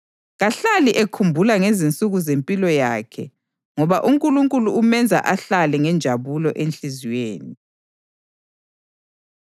Kahlali ekhumbula ngezinsuku zempilo yakhe ngoba uNkulunkulu umenza ahlale ngenjabulo enhliziyweni.